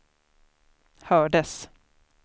hördes